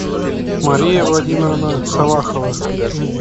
мария владимировна салахова